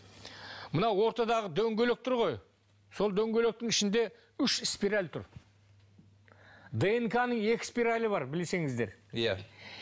мынау ортадағы дөңгелек тұр ғой сол дөңгелектің ішінде үш спираль тұр днк ның екі спиралі бар білсеңіздер иә